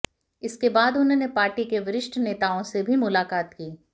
इसके बाद उन्होंने पार्टी के वरिष्ठ नेताओं से भी मुलाक़ात की